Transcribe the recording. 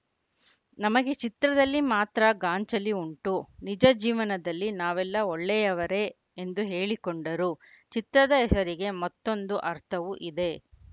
ನಮಗೆ ಚಿತ್ರದಲ್ಲಿ ಮಾತ್ರ ಗಾಂಚಲಿ ಉಂಟು ನಿಜ ಜೀವನದಲ್ಲಿ ನಾವೆಲ್ಲ ಒಳ್ಳೆಯವರೇ ಎಂದು ಹೇಳಿಕೊಂಡರು ಚಿತ್ರದ ಹೆಸರಿಗೆ ಮತ್ತೊಂದು ಅರ್ಥವೂ ಇದೆ